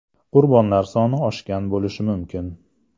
Qurbonlar soni oshgan bo‘lishi mumkin.